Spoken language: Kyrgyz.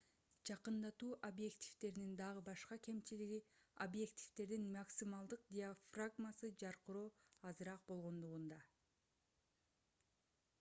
жакындатуу объективдеринин дагы башка кемчилиги объективдердин максималдык диафрагмасы жаркыроо азыраак болгондугунда